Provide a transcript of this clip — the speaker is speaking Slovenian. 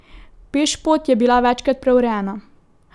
Pešpot je bila večkrat preurejena.